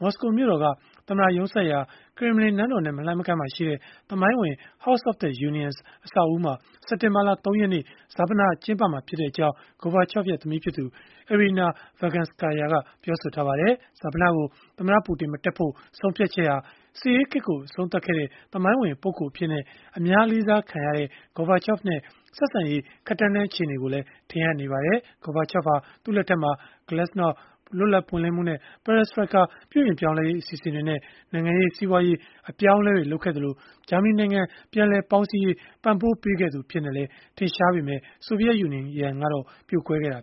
မော်စကိုမြို့တော်က သမ္မတရုံးစိုက်ရာ ကရင်မလင်နန်းတော်နဲ့ မလှမ်းမကမ်းမှာရှိတဲ့ သမိုင်းဝင် House of the Unions အဆောက်အဦးမှာ စက်တင်ဘာလ ၃ ရက်နေ့ ဈာပနကျင်းပမှာ ဖြစ်ကြောင်း Gorbachev ရဲ့ သမီးဖြစ်သူ Irina Virganskaya ကပြောဆိုထားပါတယ်။ ဈာပနကို သမ္မတပူတင် မတက်ဖို့ ဆုံးဖြတ်ချက်ဟာ စစ်အေးခေတ်ကို အဆုံးသတ်ခဲ့တဲ့ သမိုင်းဝင်ပုဂ္ဂိုလ်အဖြစ်နဲ့ အများလေးစားခံရတဲ့ Gorbachev နဲ့ ဆက်ဆံရေး ခပ်တန်းတန်း အခြေအနေကိုလည်း ထင်ဟပ်နေပါတယ်။ Gorbachev ဟာ သူ့လက်ထက်မှာ glasnost လွတ်လပ်ပွင့်လင်းမှုနဲ့ perestroika ပြုပြင်ပြောင်းလဲရေး အစီအစဉ်တွေနဲ့ နိုင်ငံရေး၊ စီးပွားရေး အပြောင်းအလဲတွေ လုပ်ခဲ့သလို၊ ဂျာမနီနိုင်ငံ ပြန်လည်ပေါင်းစည်းအောင် ပံ့ပိုးပေးခဲ့သူ အဖြစ်နဲ့လည်း ထင်ရှားပေမဲ့ ဆိုဗီယက်ယူနီယံကတော့ ပြိုကွဲခဲ့တာ